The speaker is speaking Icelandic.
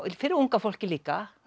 fyrir unga fólkið líka